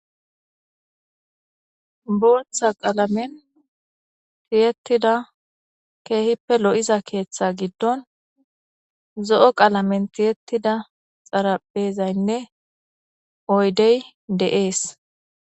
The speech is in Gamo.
boltha qalamen tiyettida keehippe lo7iza keeththa giddon zo7o qalamen tiyettida xarabeezaynne oydey de7ees